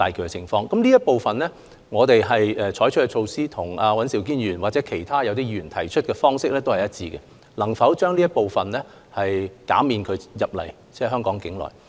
在這方面，我們採取的措施與尹兆堅議員或其他議員提出的措施是一致的，着眼於能否減少這類入境旅客的數目。